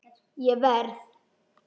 Ég verð!